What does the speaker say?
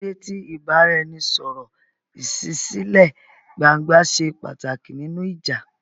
Kí ló dé tí ìbáraẹnisọ̀rọ̀ ìṣísílẹ̀-gbangba ṣe pàtàkì nínú ìjà?